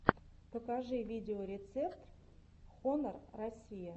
покажи видеорецепт хонор россия